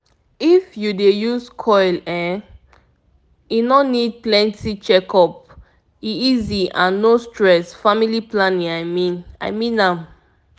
if u dey use coil e no need plenty checkup--e easy and no stress family planning i mean am